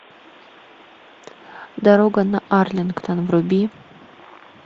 дорога на арлингтон вруби